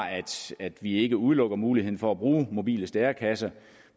at vi ikke udelukker muligheden for at bruge mobile stærekasser